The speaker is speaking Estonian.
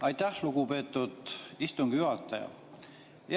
Aitäh, lugupeetud istungi juhataja!